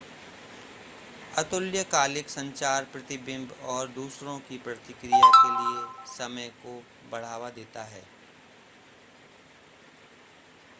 अतुल्यकालिक संचार प्रतिबिंब और दूसरों की प्रतिक्रिया के लिए समय को बढ़ावा देता है